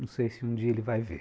Não sei se um dia ele vai ver.